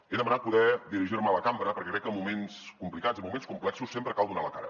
he demanat poder dirigir me a la cambra perquè crec que en moments complicats en moments complexos sempre cal donar la cara